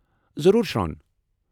ضروٗر، شروں ۔